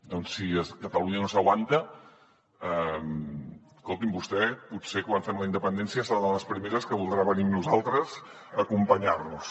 doncs si a catalunya no s’aguanta escolti’m vostè potser quan fem la independència serà de les primeres que voldrà venir amb nosaltres a acompanyar nos